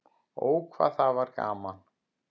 Ó, hvað það var gaman.